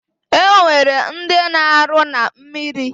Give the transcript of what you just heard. Enwere ndi na aru na mmiri